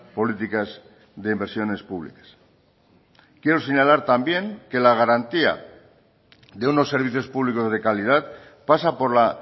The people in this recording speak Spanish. políticas de inversiones públicas quiero señalar también que la garantía de unos servicios públicos de calidad pasa por la